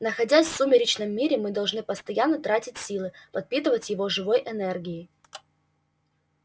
находясь в сумеречном мире мы должны постоянно тратить силы подпитывать его живой энергией